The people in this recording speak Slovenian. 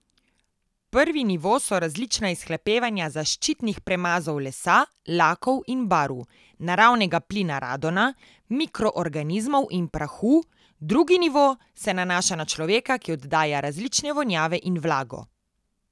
Prvi nivo so različna izhlapevanja zaščitnih premazov lesa, lakov in barv, naravnega plina radona, mikroorganizmov in prahu, drugi nivo se nanaša na človeka, ki oddaja različne vonjave in vlago.